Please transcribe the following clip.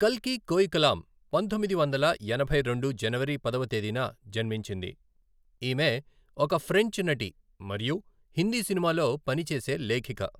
కల్కి కోయికలాం పంతొమ్మిది వందల ఎనభై రెండు జనవరి పదవ తేదీన జన్మించింది, ఈమె ఒక ఫ్రెంచ్ నటి మరియు హిందీ సినిమాలో పని చేసే లేఖిక.